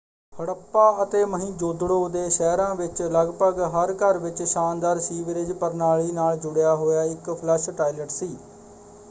ਹੜੱਪਾ ਅਤੇ ਮੋਹਿੰਜੋਦੜੋ ਦੇ ਸ਼ਹਿਰਾਂ ਵਿੱਚ ਲਗਭਗ ਹਰ ਘਰ ਵਿੱਚ ਸ਼ਾਨਦਾਰ ਸੀਵਰੇਜ ਪ੍ਰਣਾਲੀ ਨਾਲ ਜੁੜਿਆ ਹੋਇਆ ਇੱਕ ਫਲੱਸ਼ ਟਾਇਲਟ ਸੀ।